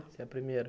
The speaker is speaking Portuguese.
Você é a primeira.